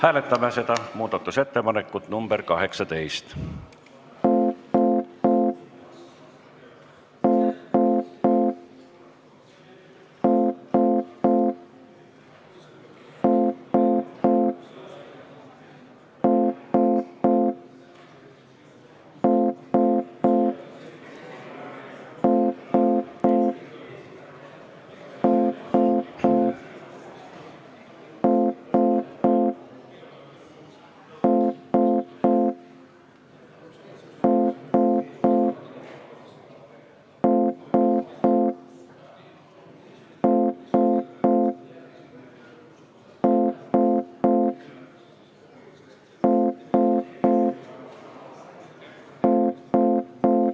Hääletame muudatusettepanekut nr 18!